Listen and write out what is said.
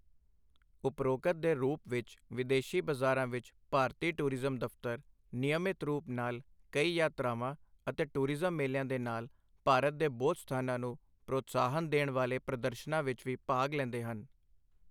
ਉਪਰੋਕਤ ਦੇ ਰੂਪ ਵਿੱਚ ਵਿਦੇਸ਼ੀ ਬਜ਼ਾਰਾਂ ਵਿੱਚ ਭਾਰਤੀ ਟੂਰਿਜ਼ਮ ਦਫ਼ਤਰ ਨਿਯਮਤ ਰੂਪ ਨਾਲ ਕਈ ਯਾਤਰਾਵਾਂ ਅਤੇ ਟੂਰਿਜ਼ਮ ਮੇਲਿਆਂ ਦੇ ਨਾਲ ਭਾਰਤ ਦੇ ਬੋਧ ਸਥਾਨਾਂ ਨੂੰ ਪ੍ਰੋਤਸਾਹਨ ਦੇਣ ਵਾਲੇ ਪ੍ਰਦਰਸ਼ਨਾਂ ਵਿੱਚ ਵੀ ਭਾਗ ਲੈਂਦੇ ਹਨ।